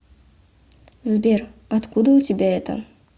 сбер откуда у тебя это